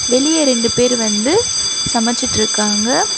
வெளிய ரெண்டு பேரு வந்து சமச்சிட்ருக்காங்க.